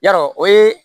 Yarɔ o ye